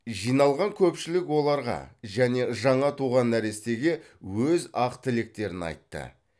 жиналған көпшілік оларға және жаңа туған нәрестеге өз ақ тілектерін айтты